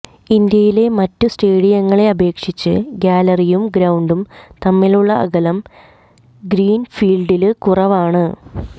ഇന്ത്യയിലെ മറ്റ് സ്റ്റേഡിയങ്ങളെ അപേക്ഷിച്ച് ഗാലറിയും ഗ്രൌണ്ടും തമ്മിലുള്ള അകലം ഗ്രീന്ഫീല്ഡില് കുറവാണ്